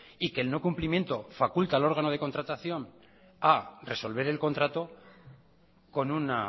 y que el no cumplimiento faculta el órgano de contratación a resolver el contrato con un